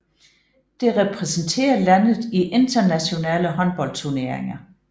Det repræsenterer landet i internationale håndboldturneringer